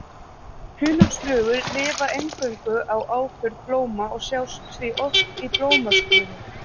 Hunangsflugur lifa eingöngu á afurðum blóma og sjást því oft í blómskrúði.